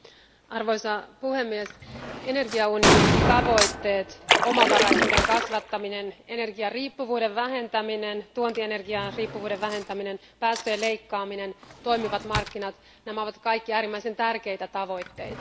Arvoisa puhemies, energiaunionin tavoitteet omavaraisuuden kasvattaminen, energiariippuvuuden vähentäminen, tuontienergian riippuvuuden vähentäminen, päästöjen leikkaaminen, toimivat markkinat ovat kaikki äärimmäisen tärkeitä tavoitteita.